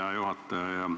Hea juhataja!